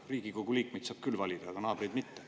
Riigikogu liikmeid saab küll valida, aga naabreid mitte.